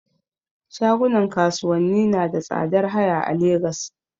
Shagunan kasuwanni nada tsadar haya a Lagos